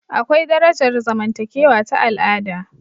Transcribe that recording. Akwai darajar zamantakewa ta al'ada